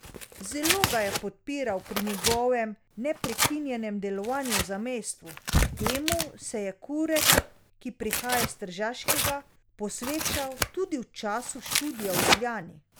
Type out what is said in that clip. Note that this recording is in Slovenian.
Zelo ga je podpiral pri njegovem neprekinjenem delovanju v zamejstvu, temu se je Kuret, ki prihaja s Tržaškega, posvečal tudi v času študija v Ljubljani.